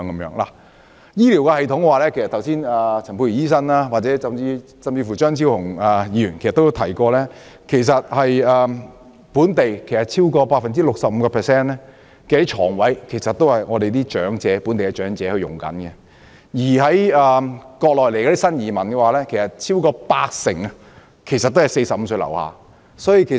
在醫療方面，剛才陳沛然醫生甚至張超雄議員已提到，超過 65% 的醫院床位是供本地長者使用，至於從國內來港的新移民，超過八成是45歲以下人士。